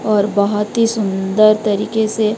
और बहुत ही सुंदर तरीके से--